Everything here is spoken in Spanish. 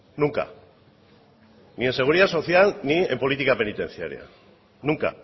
nunca ni en seguridad social ni en política penitenciaria nunca